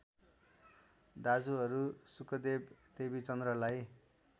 दाजुहरू शुकदेव देवीचन्द्रलाई